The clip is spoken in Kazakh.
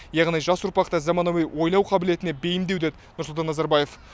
яғни жас ұрпақты заманауи ойлау қабілетіне бейімдеу деді нұрсұлтан назарбаев